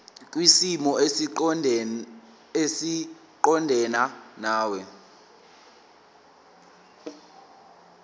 kwisimo esiqondena nawe